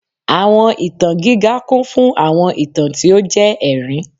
Awọn itan giga kun fun awọn itan ti o jẹ ẹrin